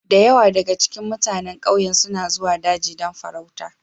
Da yawa daga cikin mutanen ƙauyen suna zuwa daji don farauta